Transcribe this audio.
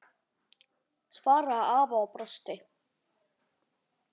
svaraði afi og brosti.